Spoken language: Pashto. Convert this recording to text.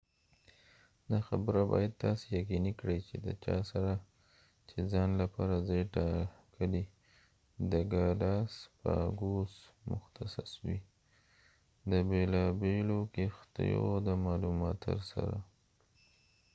دا خبره باید تاسی یقنینی کړي د چا سره چې ځان لپاره ځای ټاکلی د ګالاسپاګوس متخصص وي د بیلابیلو کښتیو د معلوماتر سره